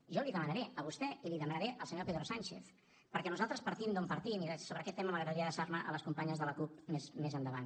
jo l’hi demanaré a vostè i l’hi demanaré al senyor pedro sánchez perquè nosaltres partim d’on partim i sobre aquest tema m’agradaria adreçar me a les companyes de la cup més endavant